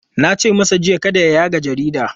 Na ce masa jiya kada ya yaga jarida!